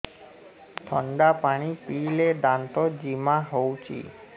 ଥଣ୍ଡା ପାଣି ପିଇଲେ ଦାନ୍ତ ଜିମା ହଉଚି